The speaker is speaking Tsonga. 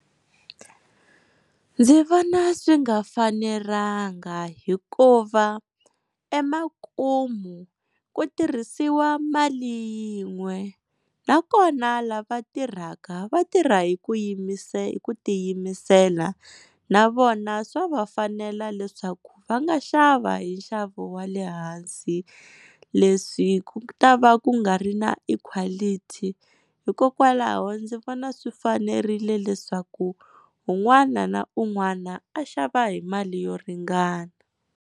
Ndzi vona swi nga fanelanga hikuva emakumu ku tirhisiwa mali yin'we nakona lava tirhaka vatirha hi ku hi ku tiyimisela na vona swa vafanela leswaku va nga xava hi nxavo wa le hansi. Leswi ku ta va ku nga ri na equality hikokwalaho ndzi vona swi fanerile leswaku un'wana na un'wana a xava hi mali yo ringana.